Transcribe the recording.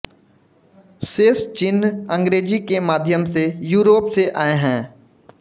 शेष चिन्ह अंग्रेजी के माध्यम से यूरोप से आए हैं